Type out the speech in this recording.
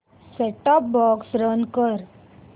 set top box run कर